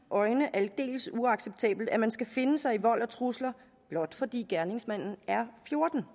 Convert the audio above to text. øjne aldeles uacceptabelt at man skal finde sig i vold og trusler blot fordi gerningsmanden er fjorten